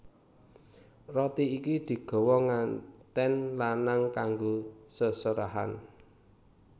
Roti iki digawa ngantèn lanang kanggo seserahan